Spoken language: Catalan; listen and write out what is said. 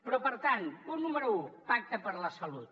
però per tant punt número un pacte per la salut